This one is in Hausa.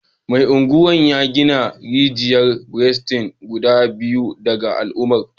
Mai Agwan ya gina rijiyar burtsatse guda biyar ga al’ummarsa